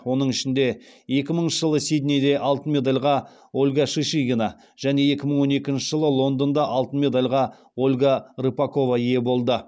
оның ішінде екі мыңыншы жылы сиднейде алтын медальға ольга шишигина және екі мың он екінші жылы лондонда алтын медальға ольга рыпакова ие болды